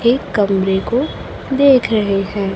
एक कमरे को देख रहे है।